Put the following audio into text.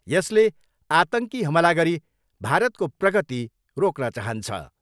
यसले आतङ्की हमला गरी भारतको प्रगती रोक्न चाहन्छ।